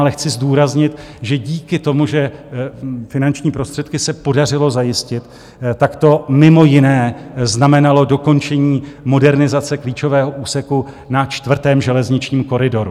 Ale chci zdůraznit, že díky tomu, že finanční prostředky se podařilo zajistit, tak to mimo jiné znamenalo dokončení modernizace klíčového úseku na čtvrtém železničním koridoru.